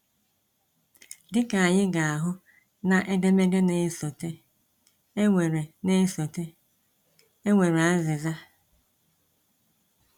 Dị ka anyị ga-ahụ na edemede na-esote, e nwere na-esote, e nwere azịza. um